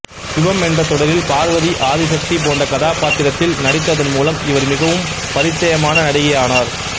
சிவம் என்ற தொடரில் பார்வதி ஆதி சக்தி போன்ற கதாபாத்திரத்தில் நடித்ததன் மூலம் இவர் மிகவும் பரிச்சியமன நடிகை ஆனார்